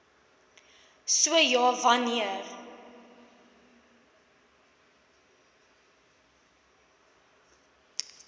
so ja wanneer